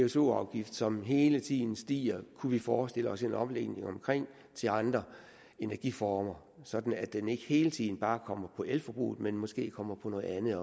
pso afgift som hele tiden stiger kunne vi forestille os en omlægning af til andre energiformer sådan at den ikke hele tiden bare kommer på elforbruget men måske også kommer på noget andet